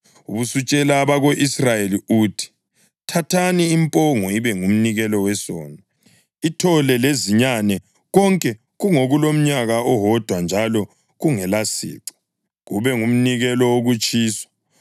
Ubusutshela abako-Israyeli uthi: ‘Thathani impongo ibe ngumnikelo wesono, ithole lezinyane, konke kungokulomnyaka owodwa njalo kungelasici, kube ngumnikelo wokutshiswa,